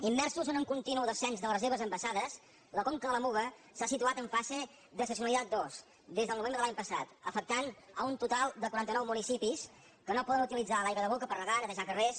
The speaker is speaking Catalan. immersos en un continu descens de les reserves envasades la conca de la muga s’ha situat en fase d’excepcionalitat dos des del novembre de l’any passat i ha afectat un total de quaranta nou municipis que no poden utilitzar l’aigua de boca per regar netejar carrers